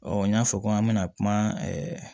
n y'a fɔ ko an bɛna kuma